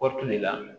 Kɔɔri tun de la